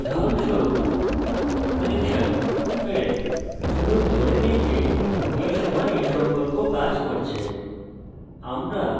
চলুন ধরে নেই যে এই সময় এই সম্পর্ক কাজ করছে